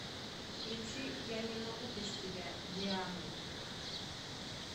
включи я не могу без тебя дианы